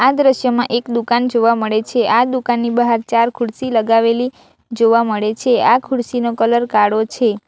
આ દ્રશ્યમાં એક દુકાન જોવા મળે છે આ દુકાનની બહાર ચાર ખુરશી લગાવેલી જોવા મળે છે આ ખુરશી નો કલર કાળો છે.